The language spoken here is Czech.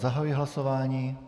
Zahajuji hlasování.